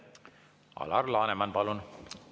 Alar Laneman, palun!